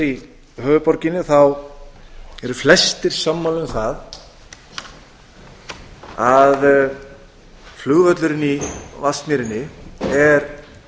í höfuðborginni eru flestir sammála má að að flugvöllurinn í vatnsmýrinni er